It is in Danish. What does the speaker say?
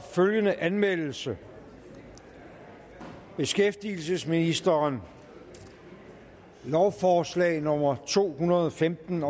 følgende anmeldelse beskæftigelsesministeren lovforslag nummer to hundrede og femten